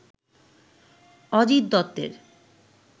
অজিত দত্তের